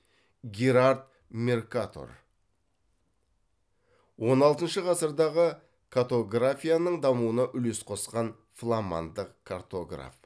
герард меркатор он алтыншы ғасырдағы катографияның дамуына үлес қосқан фламандық картограф